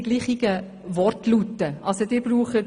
Es sind nicht die gleichen Begriffe vorhanden.